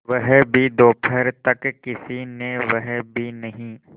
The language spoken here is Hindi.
वह भी दोपहर तक किसी ने वह भी नहीं